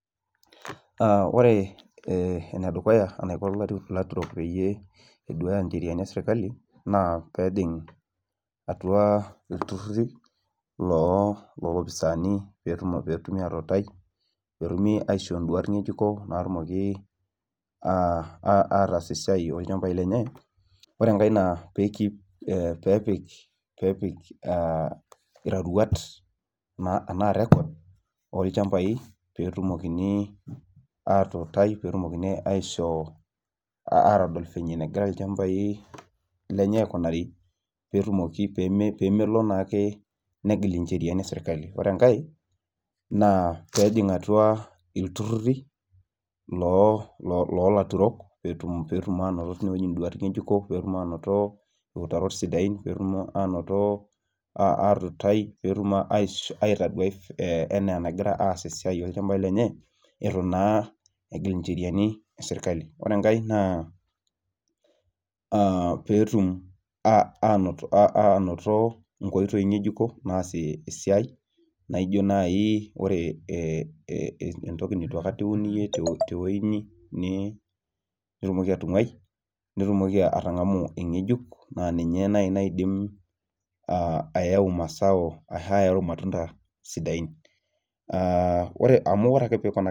ore enedukuya eniko ilaturok peyie eduya encheriani eserikali naa atua iltururi loo ilpisaani naa pee etumi atutai, netumoki ataas isiaitin ooilchambai lenye pee epik iroruat enaa rekod, pee etumokini aishoo atodol venye nagira ilchambai lenye aikunari, pee melo ake negil icheriani esirikali, ore enke naa pee ejing atua iltururi loo ilturok pee anoto iutarot sidain etu naa egil enceriani esirikali pee etumoki atangamu egejuk .